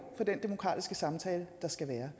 for den demokratiske samtale der skal være